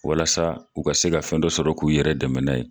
Walasa u ka se ka fɛn dɔ sɔrɔ k'u yɛrɛ dɛmɛ n'a ye.